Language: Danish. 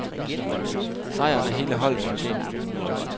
Sejren er hele holdets fortjeneste.